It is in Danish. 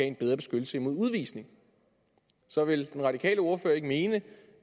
en bedre beskyttelse mod udvisning så vil den radikale ordfører ikke mene